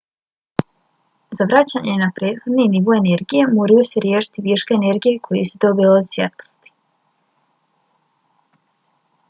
za vraćanje na prethodni nivo energije moraju se riješiti viška energije koju su dobili od svjetlosti